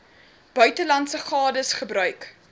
buitelandse gades gebruik